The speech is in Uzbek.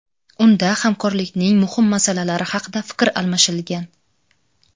Unda hamkorlikning muhim masalalari haqida fikr almashilgan.